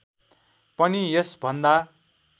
पनि यस भन्दा